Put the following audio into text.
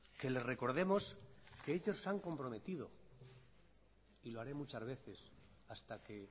que les recordemos que ellos se han comprometido y lo haré muchas veces hasta que